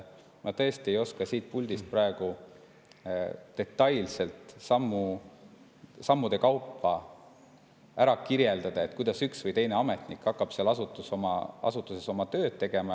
Ma tõesti ei oska siit puldist praegu detailselt sammude kaupa kirjeldada, kuidas üks või teine ametnik hakkab selles asutuses oma tööd tegema.